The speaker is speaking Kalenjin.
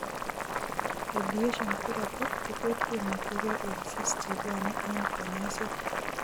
Radiation teraphy kotot kemakyikee eng' cysts chebwone eng' kanyoiset